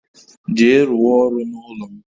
Jee rụ wa ọrụ n'ụlọ m